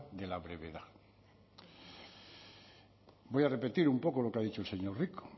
de la brevedad voy a repetir un poco lo que ha dicho el señor rico